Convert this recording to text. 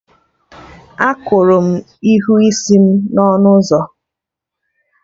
Akụrụ m ihu isi m n'ọnụ ụzọ